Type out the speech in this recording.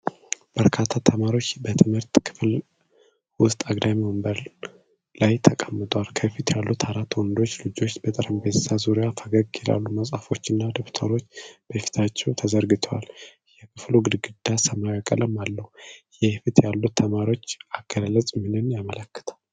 በርካታ ተማሪዎች በትምህርት ክፍል ውስጥ አግዳሚ ወንበር ላይ ተቀምጠዋል። ከፊት ያሉት አራት ወንዶች ልጆች በጠረጴዛ ዙሪያ ፈገግ ይላሉ፤ መጽሐፎችና ደብተሮች በፊታቸው ተዘርግተዋል። የክፍሉ ግድግዳ ሰማያዊ ቀለም አለው። የፊት ያሉት ተማሪዎች አገላለጽ ምንን ያመለክታል?